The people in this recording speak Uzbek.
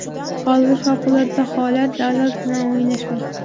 Hozir favqulodda holat, davlat bilan o‘ynashmang.